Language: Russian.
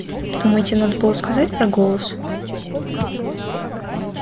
думаете надо было сказать про голос